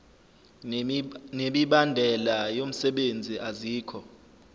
nemibandela yomsebenzi azikho